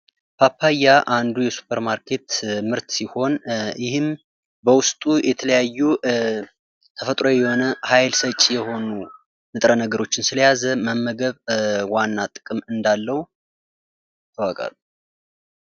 ፓፓያ አንዱ የሱፐር ማርኬት ምርት ሲሆን ይህም በውስጡ የተለያዩ ተፈጥሯዊ የሆነ ኃይል ሰጭ የሆኑ ንጥረ ነገሮችን ስለያዘ መመገብ ዋና ጥቅም እንዳለው ይታወቃል።